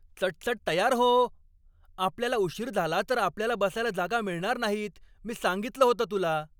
चटचट तयार हो! आपल्याला उशीर झाला तर आपल्याला बसायला जागा मिळणार नाहीत, मी सांगितलं होतं तुला.